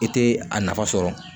I tɛ a nafa sɔrɔ